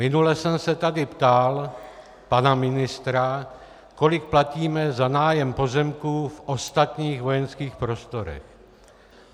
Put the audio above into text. Minule jsem se tady ptal pana ministra, kolik platíme za nájem pozemků v ostatních vojenských prostorech.